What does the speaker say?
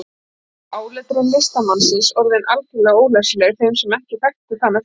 Þá var áletrun listamannsins orðin algjörlega ólæsileg þeim sem ekki þekktu hana fyrir.